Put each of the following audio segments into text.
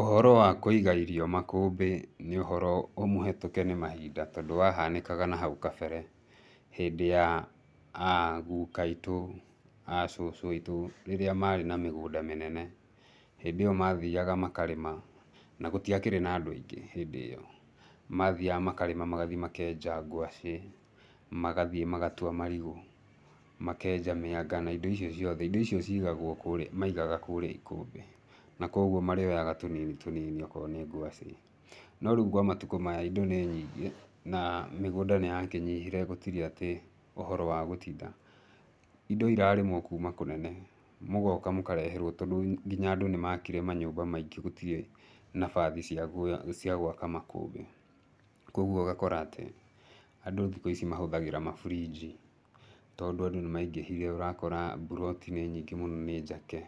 Ũhoro wa kũiga irio makũmbĩ nĩ ũhoro mũhetũke nĩ mahinda tondũ wahanĩkaga haũ kabere, hĩndĩ ya agũka aitũ, aa cũcũ aitũ rĩrĩra marĩ na mĩgũnda mĩnene, hĩndĩ ĩyo mathiaga makarĩma na gũtiakĩrĩ na andũ aingĩ hĩndĩ ĩyo. Mathiaga makarĩma, magathi makenja ngwacĩ, magathiĩ magatũa marigũ, makenja mĩanga na indo icio ciothe. Indo icio ciiagagũo kĩrĩa maigaga kũrĩa ikũmbĩ. Na kũogũo marĩoyaga tũnini tũnini okorwo nĩ ngwacĩ. No rĩũ kwa matũkũ maya indo nĩ nyingĩ na mĩgũnda nĩyakĩnyihire, gũtirĩ atĩ ũhoro wa gũtita. Indo irarĩmwo kũma kũnene, mũgoka mũkareherwo tondũ nginya andũ nĩmakire manyũmba maingĩ gũtirĩ nabathi cia gwa cia gwaka makũmbĩ. Kũogũo ũgakora atĩ andũ thikũ ici mahũthĩraga mabũrinji, tondũ andũ nĩmaingĩhire ũrakora mbũroti nĩ nyingĩ mũno nĩ njake.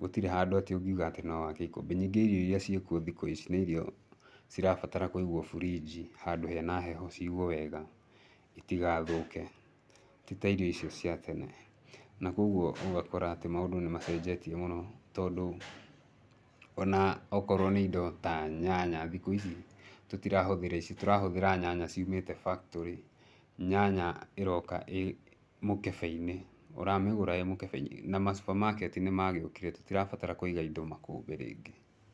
Gũtirĩ handũ atĩ ũngiũga atĩ nowake ikũmbĩ. Ningĩ irio irĩa ciĩkũo thikũ ici nĩ irio cirabatara kũigwo bũrinji handũ hena heho ciigwo wega itigathũke. Ti ta irio icio cia tene. Na kũogũo ũgakora atĩ maũndũ nĩmacenjetie mũno tondũ, ona okorũo nĩ indo ta nyanya, thikũ ici tũtirahũthĩra ici tũrahũthĩra nyanya ciũmĩte factory nyanya ĩroka ĩĩ mũkebe-inĩ. Ũramĩgũra ĩĩ mũkebe-inĩ na macũpamaketi nũmagĩũkire, tĩtirabatara kũiga indo makũmbĩ rĩngĩ.